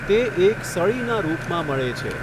તે એક સળીના રુપમાં મળે છે.